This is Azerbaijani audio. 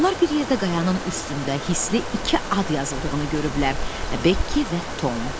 Onlar bir yerdə qayanın üstündə hisli iki ad yazıldığını görüblər: Bekki və Tom.